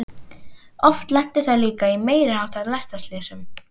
Oft lentu þær líka í meiri háttar lestarslysum.